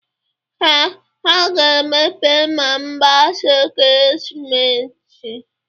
Ee, ha ga-emepe ma agbasa ekeresimesi